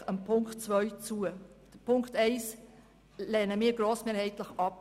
Die EVP stimmt also Punkt 2 grossmehrheitlich zu.